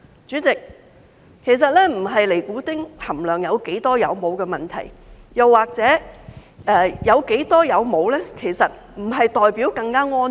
主席，其實這並不是尼古丁含量有多少或是有沒有的問題，又或者即使有較少尼古丁，其實並不代表是更安全。